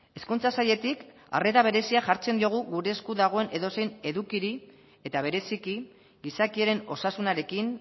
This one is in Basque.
hezkuntza sailetik arrera berezia jartzen diogu gure esku dagoen edozein edukiri eta bereziki gizakiaren osasunarekin